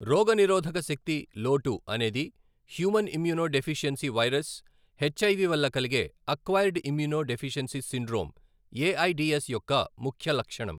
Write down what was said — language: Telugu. రోగ నిరోధక శక్తి లోటు అనేది human immunodeficiency virus, HIV వల్ల కలిగే acquired immunodeficiency syndrome, AIDS యొక్క ముఖ్య లక్షణం.